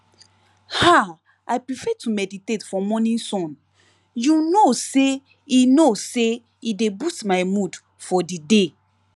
ah i prefer to meditate for morning sun you know say e know say e dey boost my mood for the day